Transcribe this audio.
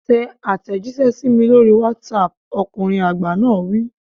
Tẹ àtẹ̀jíṣẹ́ sí mi lórí WhatsApp, ọkùnrin àgbà náà wí.